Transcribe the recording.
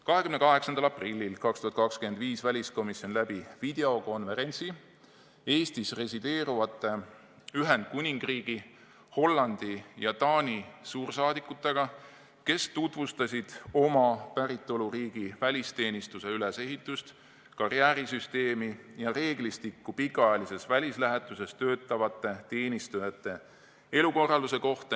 28. aprillil 2020 viis väliskomisjon läbi videokonverentsi Eestis resideerivate Ühendkuningriigi, Hollandi ja Taani suursaadikutega, kes tutvustasid oma päritoluriigi välisteenistuse ülesehitust, karjäärisüsteemi ja reeglistikku, mis puudutab pikaajalises välislähetuses töötavate teenistujate elukorraldust.